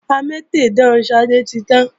Amétèdán Ṣadé ti tán